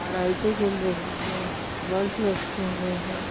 लाइटे जल रही है बल्फ लटके हुए हैं।